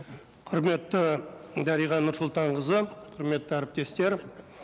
құрметті дариға нұрсұлтанқызы құрметті әріптестер